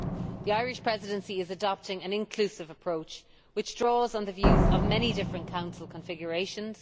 The Irish Presidency is adopting an inclusive approach which draws on the views of many different Council configurations.